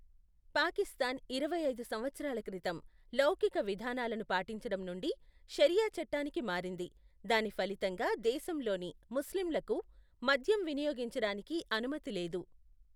పాకిస్తాన్ ఇరవై ఐదు సంవత్సరాల క్రితం లౌకిక విధానాలను పాటించడం నుండి షరియా చట్టానికి మారింది, దాని ఫలితంగా దేశంలోని ముస్లింలకు మద్యం వినియోగించడానికి అనుమతి లేదు.